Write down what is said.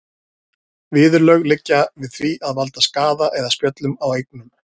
Viðurlög liggja við því að valda skaða eða spjöllum á eignum.